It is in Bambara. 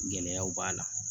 Gɛlɛyaw b'a la